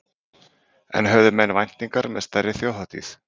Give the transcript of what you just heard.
En höfðu menn væntingar með stærri þjóðhátíð?